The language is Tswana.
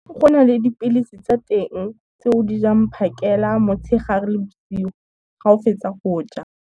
Go na le dipilisi tsa teng tse o di jang phakela, motshegare le bosigo, ga o fetsa go ja.